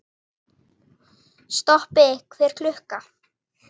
Stoppi hver klukka!